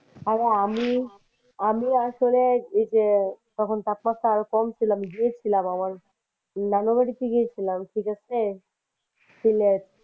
আরে আমি আসলে এই যে যখন তাপমাত্রা আরো কম ছিল আমি গিয়েছিলাম আমার নানু বাড়িতে গিয়েছিলাম ঠিক আছে। শিলেট।